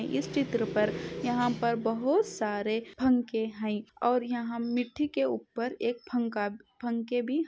इस चित्र पर यहाँ पर बहुत सारे पंखे है और यहाँ मीठी के ऊपर एक पंखा पंखे भी है।